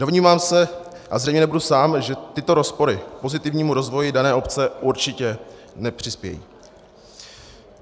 Domnívám se, a zřejmě nebudu sám, že tyto rozpory pozitivnímu rozvoji dané obce určitě nepřispějí.